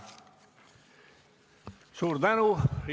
Suur tänu!